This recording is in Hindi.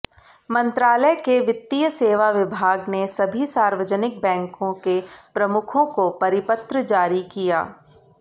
मंत्रालय के वित्तीय सेवा विभाग ने सभी सार्वजनिक बैंकों के प्रमुखों को परिपत्र जारी किया